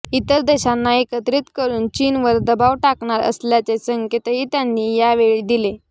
इतर देशांना एकत्रित करून चीनवर दबाव टाकणार असल्याचे संकेतही त्यांनी यावेळी दिले